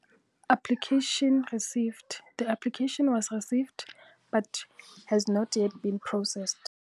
Application received, the application was received, but has not yet been processed.